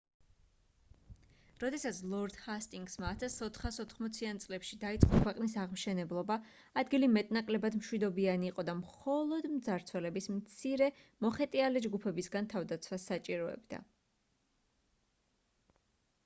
როდესაც ლორდ ჰასტინგსმა 1480-იან წლებში დაიწყო ქვეყნის აღმშენებლობა ადგილი მეტ-ნაკლებად მშვიდობიანი იყო და მხოლოდ მძარცველების მცირე მოხეტიალე ჯგუფებისგან თავდაცვას საჭიროებდა